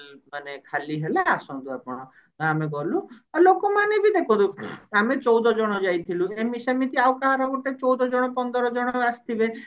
ମାନେ ଖାଲି ହେଲା ଆସନ୍ତୁ ଆପଣ ତ ଆମେ ଗଲି ଆଉ ଲୋକ ମାନେ ବି ଦେଖନ୍ତୁ ଆମେ ଚଉଦ ଜଣ ଯାଇଥିଲୁ ଏମିତି ସେମତି ଆଉ କାହାର ଗୋଟେ ଚଉଦ ଜଣ ପନ୍ଦର ଜଣ ଆସିଥିବେ